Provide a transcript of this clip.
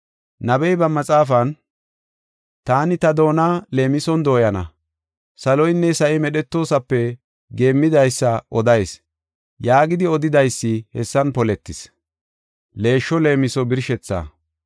Nabey ba maxaafan, “Taani ta doona, leemison dooyana; saloynne sa7i medhetoosape, geemmidaysa odayis” yaagidi odidaysi hessan poletis.